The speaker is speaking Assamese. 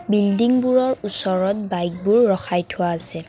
বিল্ডিংবোৰৰ ওচৰত বাইকবোৰ ৰখাই থোৱা আছে।